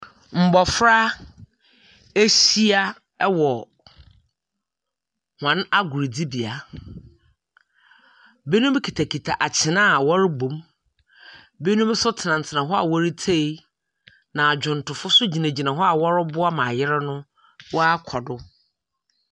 Mmofra ahyia wɔ wɔn agodie bea. Ɛbinom kita kita atwene a ɔrebɔ na ɛbinom nso tena tena hɔ retie na adwomtofoɔ nso gyina gyina hɔ ɔreboa ma agorɔ no wa akɔ do.